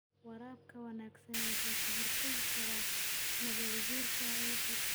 Waraabka wanaagsani wuxuu ka hortagi karaa nabaad-guurka ciidda.